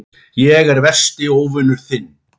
Ég er versti óvinur þinn.